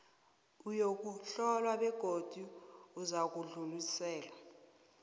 uyokuhlolwa begodu uzakudluliselwa